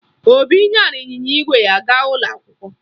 Obi nyara ịnyịnya ígwè ya gaa ụlọ akwụkwọ